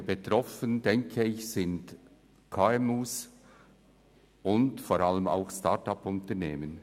Insbesondere betroffen sind aus meiner Sicht die KMUs und insbesondere Start-upUnternehmen.